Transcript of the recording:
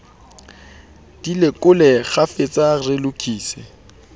di lekole kgafetsa re lokise